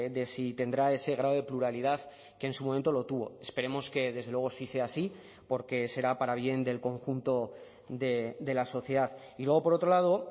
de si tendrá ese grado de pluralidad que en su momento lo tuvo esperemos que desde luego sí sea así porque será para bien del conjunto de la sociedad y luego por otro lado